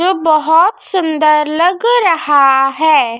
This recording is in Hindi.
जो बहोत सुंदर लग रहा है।